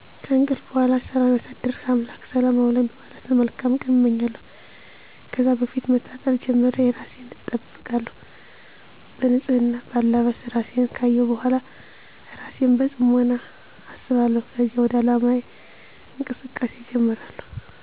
ከእንቅልፍ በሗላ ሠላም ያሳደርሕ አምላኬ ሰላም አውለኝ በማለት መልካም ቀን አመኛለሁ። ከዛ ከፊት መታጠብ ጀምሮ እራሴን አጠብቃለሁ። በንፅህና፣ በአለባበስ፣ እራሴን ካየሁ በሗላ እራሴን በፅሞና አስባለሁከዚያ ወደ ዓላማየ እንቅስቃሴ እጀምራሐሁ።